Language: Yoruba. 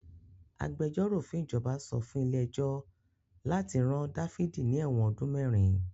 Agbẹjọ́rò fún ìjọba sọ fún ilé ẹjọ́ láti rán Dáfídì ní ẹ̀wọ̀n ọdún mẹ́rin.